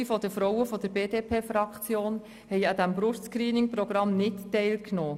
Die Hälfte der Frauen der BDP-Fraktion hat an diesem Brust-ScreeningProgramm nicht teilgenommen.